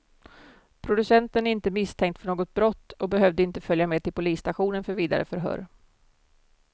Producenten är inte misstänkt för något brott och behövde inte följa med till polisstationen för vidare förhör.